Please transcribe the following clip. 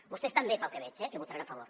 vostès també pel que veig hi votaran a favor